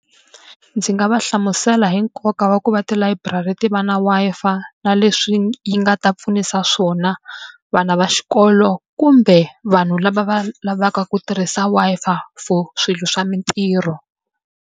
Ndzi nga va hlamusela hi nkoka wa ku va tilayiburari ti va na Wi-Fi na leswi yi nga ta pfunisa swona vana va xikolo, kumbe vanhu lava va lavaka ku tirhisa Wi-Fi for swilo swa mitirho.